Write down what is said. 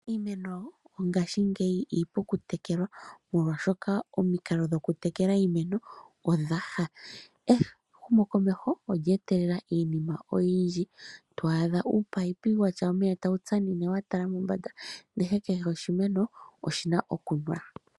Iimeno mongaashingeyi iipu okutekelwa molwaashoka omikalo dhoku tekela iimeno odhaha . Ehumokomeho olye etelela iinima oyindji to adha ominino dhina omeya tagu shashamine omeya watala mombanda ndele kehe oshimeno oshina okunwa.